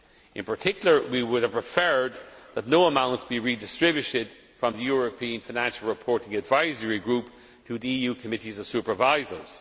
In particular we would have preferred that no amounts be redistributed from the European Financial Reporting Advisory Group to the EU Committees of Supervisors.